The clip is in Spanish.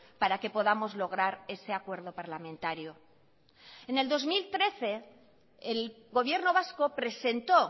para que podamos lograr ese acuerdo parlamentario en el dos mil trece el gobierno vasco presentó